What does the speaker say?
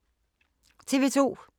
TV 2